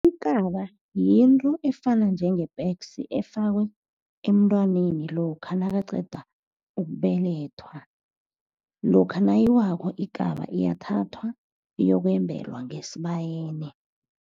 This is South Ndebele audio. Ikaba yinto efana njenge-pegs, efakwa emntwaneni lokha nakaqeda ukubelethwa. Lokha nayiwako ikaba iyathathwa, iyokwembelwa ngesibayeni.